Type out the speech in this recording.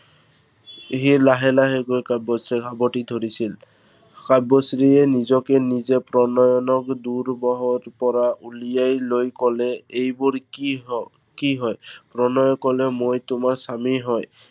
সি লাহে লাহে গৈ কাব্যশ্ৰীক সাৱটি ধৰিছিল। কাব্যশ্ৰীয়ে নিজকে নিজে প্ৰণয়নৰ দুবাহুৰ পৰা ওলিয়াই লৈ কলে, এইবোৰ কি হয়, কি হয়। প্ৰণয়ে কলে, মই তোমাৰ স্বামী হয়।